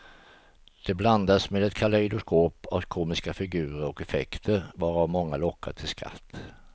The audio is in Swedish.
Det blandas med ett kalejdoskop av komiska figurer och effekter, varav många lockar till skratt.